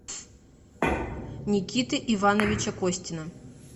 никиты ивановича костина